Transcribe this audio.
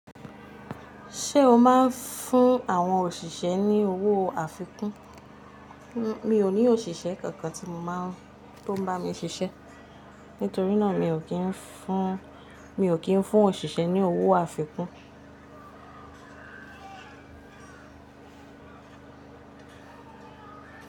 Ṣé o máa ń fún àwọn òṣìṣẹ́ ní owó àfikún? Mi ò ní òṣìṣẹ́ kankan tí mo máa ń, tó ń bá mi ṣiṣẹ́. Nítorí náà mi ò kí ń fún, mi ò kí ń fún òṣìṣẹ́ ní owó àfikún.